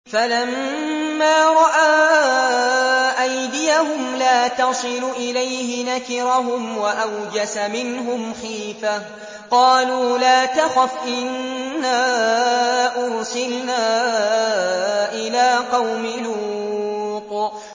فَلَمَّا رَأَىٰ أَيْدِيَهُمْ لَا تَصِلُ إِلَيْهِ نَكِرَهُمْ وَأَوْجَسَ مِنْهُمْ خِيفَةً ۚ قَالُوا لَا تَخَفْ إِنَّا أُرْسِلْنَا إِلَىٰ قَوْمِ لُوطٍ